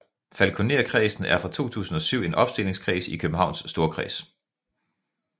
Falkonerkredsen er fra 2007 en opstillingskreds i Københavns Storkreds